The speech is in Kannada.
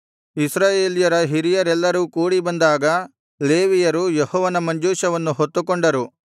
ಇಸ್ರಾಯೇಲ್ಯರ ಹಿರಿಯರೆಲ್ಲರೂ ಕೂಡಿ ಬಂದಾಗ ಲೇವಿಯರು ಯೆಹೋವನ ಮಂಜೂಷವನ್ನು ಹೊತ್ತುಕೊಂಡರು